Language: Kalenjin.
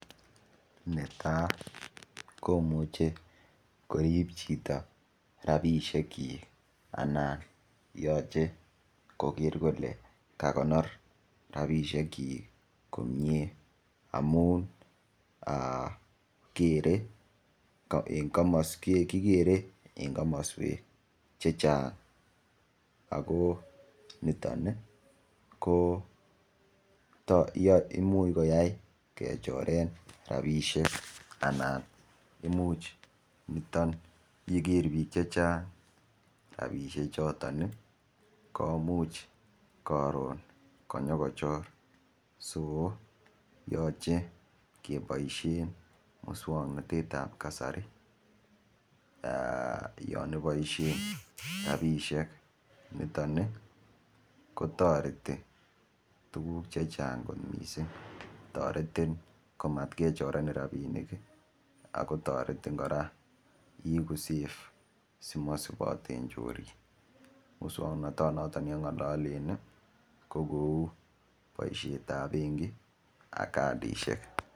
Netai komuchei korip chito ropishek chi anan yoche koker kole kakonor ropishek chi komie amun kikere eng komoswek che chang ako niton ko imuch koyai kechoren ropisiek anan imuch niton yeker biik che chang rapishek choton komuch karon konyokochor yochei keboishe muswongnotet ap kasari yon iboishe ropishek niton kotoreti tukuk chechang kot mising toretin komatkechorenen ropinik akotoretin kora iiku save simasipaten chorik muswongnotet noton nengalalen ko kou boishet ap benki ak kadishek.